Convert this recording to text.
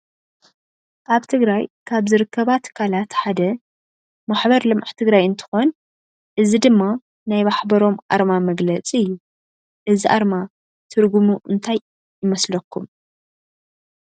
አብ ትግራይ ካብ ዝርከባ ትካላት ሓደ ምሕበር ልምዓት ትግራይ እንትኮን እዚ ድማ ናይ ማሕበሮም አርማ መግለፅ እዩ። እዚ አርማ ትርጉሙ እንታይ ይመስለኩም?